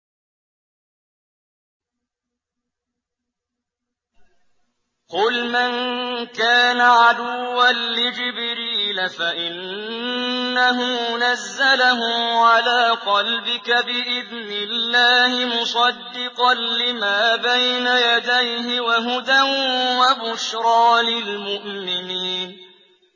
قُلْ مَن كَانَ عَدُوًّا لِّجِبْرِيلَ فَإِنَّهُ نَزَّلَهُ عَلَىٰ قَلْبِكَ بِإِذْنِ اللَّهِ مُصَدِّقًا لِّمَا بَيْنَ يَدَيْهِ وَهُدًى وَبُشْرَىٰ لِلْمُؤْمِنِينَ